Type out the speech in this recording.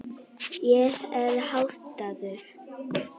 Ég er háttaður.